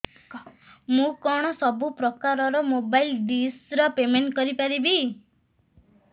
ମୁ କଣ ସବୁ ପ୍ରକାର ର ମୋବାଇଲ୍ ଡିସ୍ ର ପେମେଣ୍ଟ କରି ପାରିବି